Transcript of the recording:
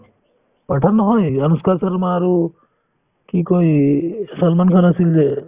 pathaan নহয় অনুষ্কা শৰ্মা আৰু কি কই এই ছলমান খান আছিল যে